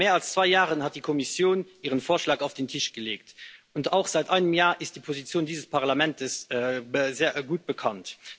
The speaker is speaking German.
Vor mehr als zwei Jahren hat die Kommission ihren Vorschlag auf den Tisch gelegt, und seit einem Jahr ist auch die Position dieses Parlaments sehr gut bekannt.